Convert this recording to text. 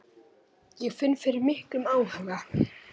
Ég finn fyrir miklum áhuga.